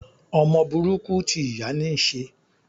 Ọmọ burúkú ti ìyá níí ṣe.